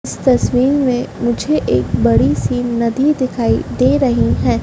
इस तस्वीर में मुझे एक बड़ी सी नदी दिखाई दे रही है।